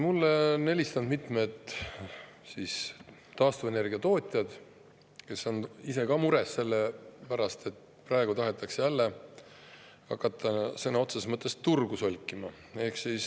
Mulle on helistanud mitmed taastuvenergia tootjad, kes on ise ka mures selle pärast, et praegu tahetakse jälle hakata sõna otseses mõttes turgu solkima.